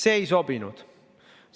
See ei sobinud.